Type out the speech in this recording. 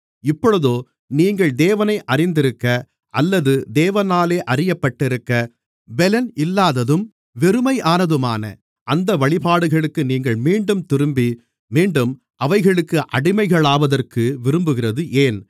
இப்பொழுதோ நீங்கள் தேவனை அறிந்திருக்க அல்லது தேவனாலே அறியப்பட்டிருக்க பெலன் இல்லாததும் வெறுமையானதுமான அந்த வழிபாடுகளுக்கு நீங்கள் மீண்டும் திரும்பி மீண்டும் அவைகளுக்கு அடிமைகளாவதற்கு விரும்புகிறது ஏன்